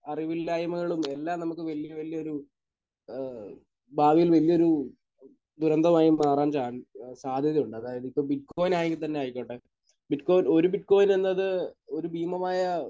അറിവില്ലായ്മകളും എല്ലാം നമുക്ക് വലിയ വലിയൊരു ഏഹ് ഭാവിയിൽ വലിയൊരു ദുരന്തമായി മാറാൻ ചാൻ...സാധ്യതയുണ്ട്. അതായത് ഇപ്പോൾ ബിറ്റ്കോയിൻ ആയെങ്കിൽ തന്നെ ആയിക്കോട്ടെ. ബിറ്റ്കോയിൻ ഒരു ബിറ്റ്കോയിൻ എന്നത് ഒരു ഭീമമായ